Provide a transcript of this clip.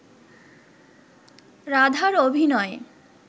রাধার অভিনয়